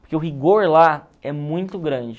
Porque o rigor lá é muito grande.